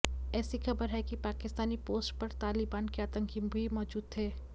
ऐसी खबर है कि पाकिस्तानी पोस्ट पर तालिबान के आतंकी भी मौजूद थे